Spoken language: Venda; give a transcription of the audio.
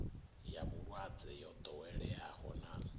ya vhulwadze yo ḓoweleaho na